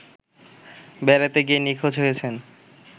বেড়াতে গিয়ে নিখোঁজ হয়েছেন